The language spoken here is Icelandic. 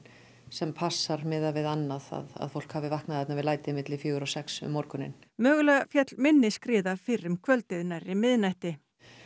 sem passar miðað við annað að fólk hafi vaknað þarna við læti milli fjögur og sex um morguninn mögulega féll minni skriða fyrr um kvöldið nærri miðnætti